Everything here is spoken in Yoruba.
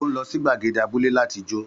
Ó ń lọ sí gbàgède abúlé láti jó.